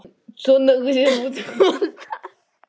Þær flýttu sér heim til að segja mömmu tíðindin.